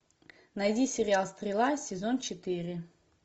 найди сериал стрела сезон четыре